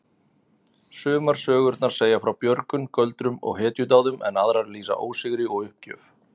Sumar sögurnar segja frá björgun, göldrum og hetjudáðum en aðrar lýsa ósigri og uppgjöf.